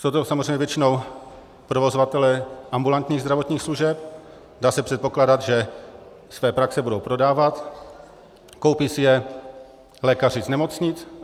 Jsou to samozřejmě většinou provozovatelé ambulantních zdravotních služeb, dá se předpokládat, že své praxe budou prodávat, koupí si je lékaři z nemocnic.